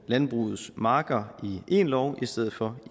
landbrugets marker i én lov i stedet for